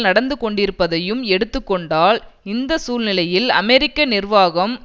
நடந்துகொண்டிருப்பதையும் எடுத்து கொண்டால் இந்த சூழ்நிலையில் அமெரிக்க நிர்வாகம்